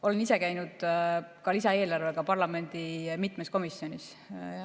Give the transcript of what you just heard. Olen ise käinud ka lisaeelarvega mitmes parlamendikomisjonis.